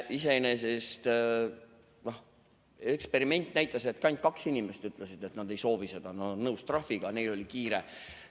See eksperiment näitas, et ainult kaks inimest ütlesid, et nad ei soovi seda, nad on nõus trahviga, neil oli kiire.